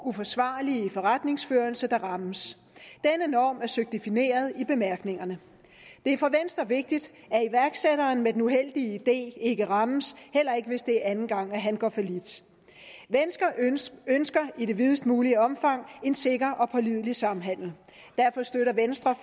uforsvarlige forretningsførelse der rammes denne norm er søgt defineret i bemærkningerne det er for venstre vigtigt at iværksætteren med den uheldige idé ikke rammes heller ikke hvis det er anden gang han går fallit venstre ønsker i det videst mulige omfang en sikker og pålidelig samhandel derfor støtter venstre